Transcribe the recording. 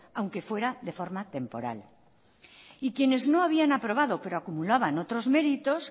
aunque fuera de forma temporal y quienes no habían aprobado pero acumulaban otros méritos